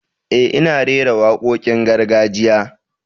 Eh, ina rera wakokin gargajiya.